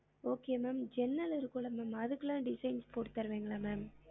Okay ma'am ஜன்னல் இருக்கும்ல ma'am அதுக்குலாம் designs போட்டு தருவிங்களா ma'am